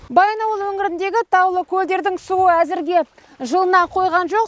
баянауыл өңіріндегі таулы көлдердің суы әзірге жылына қойған жоқ